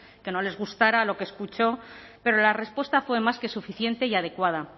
que no les gustara lo que escuchó pero la respuesta fue más que suficiente y adecuada